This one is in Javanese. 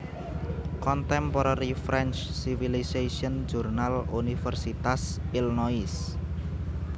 Contemporary French Civilization jurnal Universitas Illinois